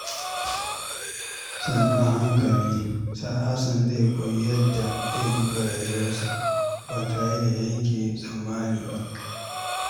Sannu a hankali, Hassan zai koyi yadda zai duba rayuwarsa ba tare da yanke tsammani ba.